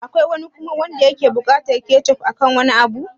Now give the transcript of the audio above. Akwai wani kuma da yake buƙatar kechof akan wani abu?